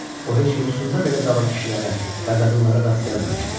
O heç yuxusunda belə qaba kişilərə və qadınlara rast gəlməmişdi.